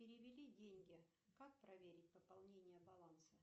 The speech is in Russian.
перевели деньги как проверить пополнение баланса